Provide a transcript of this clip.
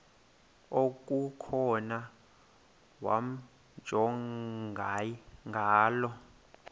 okukhona wamjongay ngaloo